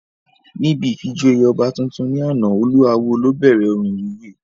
Níbi ìfijoyè ọba tuntun ní àná, olú awó ló bẹ̀rẹ̀ orin ìwúyè